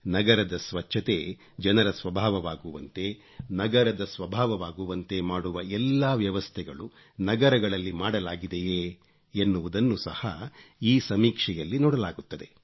ನಗರದ ಸ್ವಚ್ಚತೆ ಜನರ ಸ್ವಭಾವವಾಗುವಂತೆ ನಗರದ ಸ್ವಭಾವವಾಗುವಂತೆ ಮಾಡುವ ಎಲ್ಲಾ ವ್ಯವಸ್ಥೆಗಳು ನಗರಗಳಲ್ಲಿ ಮಾಡಲಾಗಿದೆಯೇ ಎನ್ನುವುದನ್ನು ಸಹ ಈ ಸಮೀಕ್ಷೆಯಲ್ಲಿ ನೋಡಲಾಗುತ್ತದೆ